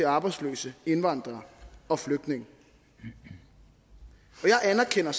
arbejdsløse indvandrere og flygtninge jeg anerkender